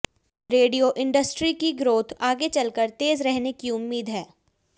radio industry की growth आगे चलकर तेज रहने की उम्मीद है